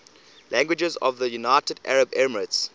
languages of the united arab emirates